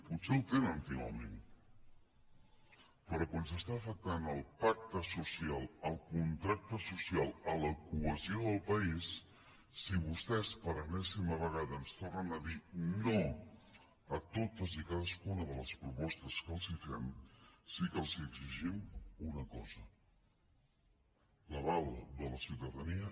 potser el tenen finalment però quan s’està afectant el pacte social el contracte social la cohesió del país si vostès per enèsima vegada ens tornen a dir no a totes i cadascuna de les propostes que els fem sí que els exigim una cosa l’aval de la ciutadania